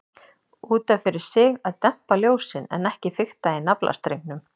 Út af fyrir sig að dempa ljósin, en ekki fikta í naflastrengnum.